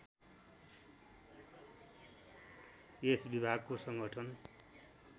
यस विभागको सङ्गठन